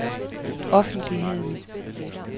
offentligheden